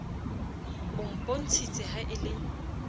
o mpontshitse ha e le